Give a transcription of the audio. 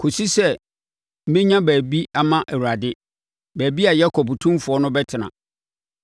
kɔsi sɛ menya baabi ama Awurade, baabi a Yakob Otumfoɔ no bɛtena.”